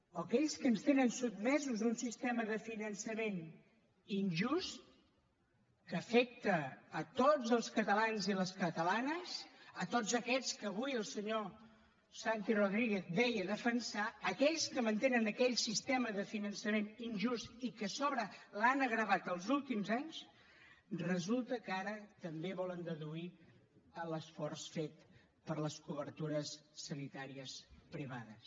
o aquells que ens tenen sotmesos a un sistema de finançament injust que afecta tots els catalans i les catalanes tots aquests que avui el senyor santi rodríguez deia defensar aquells que mantenen aquell sistema de finançament injust i que a sobre l’han agreujat els últims anys resulta que ara també volen deduir l’esforç fet per les cobertures sanitàries privades